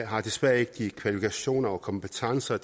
har desværre ikke de kvalifikationer og kompetencer